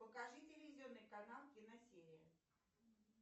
покажи телевизионный канал киносерия